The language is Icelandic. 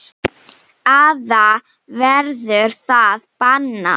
Eða verður það bannað?